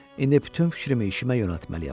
İndi bütün fikrimi işimə yönəltməliyəm.